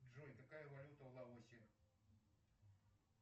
джой какая валюта в лаосе